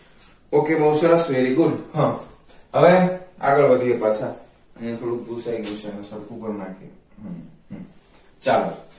ok બહુ સરસ very good હ હવે આગળ વધીએ પાછા અહિયાં થોડુક ભૂસાઈ ગયુ છે એને સરખું કરી નાખીએ હમમ હ ચાલો